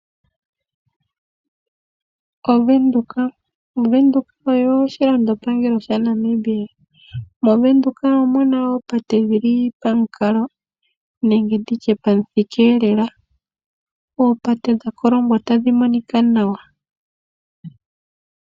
Ovenduka Ovenduka oyo oshilandopangelo sha Namibia. Movenduka omuna oopate dhili pamukalo nenge nditye pamuthika lela. Oopate dha kolongwa tadhi monika nawa.